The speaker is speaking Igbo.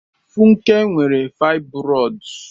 Funke nwere fibroids.